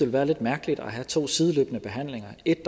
være lidt mærkeligt at have to sideløbende behandlinger et